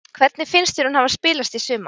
Hvernig finnst þér hún hafa spilast í sumar?